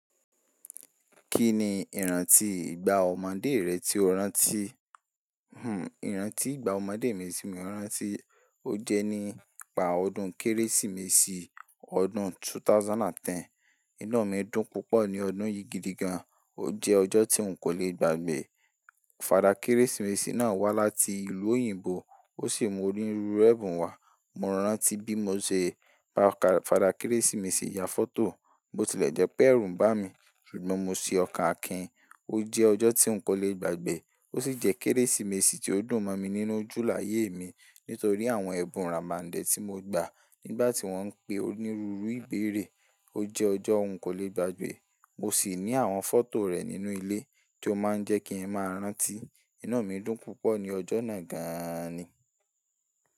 Kí ni ìrántí ìgbà ọmọdé rẹ tí o rántí? Hmm ìrántí ìgbà ọmọdé mi tí mo rántí, ó jẹ́ nígbà ọdún Kérésìmesì ọdún 2010. Iná mi dùn púpọ̀ ní ọdún yìí gidi gan. Ó jẹ́ ọjọ́ tí n kò le gbàgbẹ́. Fada Kérésìmesì náà wá láti ìlú òyìnbó ó sì mú onírúurú ẹbun wá. Mo rántí bí mo ṣe pa kà, Fada Kérésìmesì ya fọ́tò, o tilẹ̀ jẹ péérù bá mi ṣùgbọ́n mo se ọkàn akin. Ó jẹ́ ọjọ́ tí n kò le gbàgbẹ́. Ó sì jẹ́ Kérésìmesì tí ó dùn mọ́ mi nínú ojú láyé mi nítorí àwọn ẹbun ramande tí mo gbà nígbà tí wọ́n ń pe onírúurú ìbéèrè. Ó jẹ́ ọjọ́ òún kò lè gbàgbẹ́. Mo sì ní àwọn fọ́tò rẹ̀ nínú ilé tí ó máa ń jẹ́ kí n máa rántí. Inu mi dùn púpọ̀ ní ọjọ́ náà gan ni.